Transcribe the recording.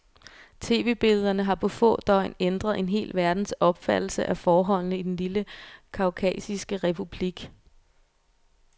Tv-billederne har på få døgn ændret en hel verdens opfattelse af forholdene i den lille kaukasiske republik.